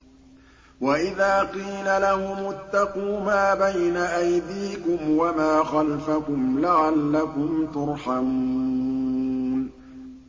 وَإِذَا قِيلَ لَهُمُ اتَّقُوا مَا بَيْنَ أَيْدِيكُمْ وَمَا خَلْفَكُمْ لَعَلَّكُمْ تُرْحَمُونَ